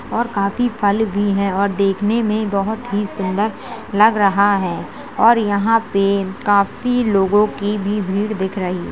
और काफी फल भी हैं और देखने मे बहुत ही सुंदर लग रहा है और यहाँं पे काफी लोगो की भीड़ दिख रही --